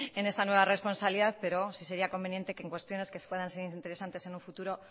en esta nueva responsabilidad pero sí sería conveniente que en cuestiones que se puedan ser interesantes en un futuro